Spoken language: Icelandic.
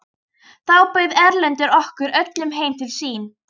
Þá bauð Erlendur okkur öllum heim til sín.